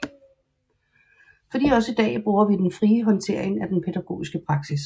Fordi også i dag bruger vi den frie håndtering af den pædagogiske praksis